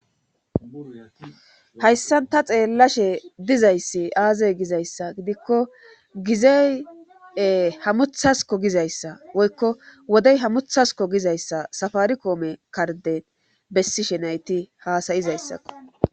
hayssan ta xeellashe dizayssi aaze gizayssa gidikko gizeye hamuthasko gizayssa woykko wodey hammuthasko gizayssa safari koome karden bessi shenayti haasayizayssakko